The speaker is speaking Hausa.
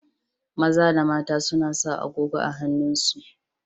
Maza da mata suna sa agogo a hannun su.